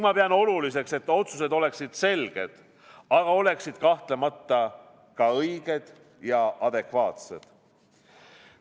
Ma pean oluliseks, et otsused oleksid selged, aga oleksid kahtlemata ka õiged ja adekvaatsed.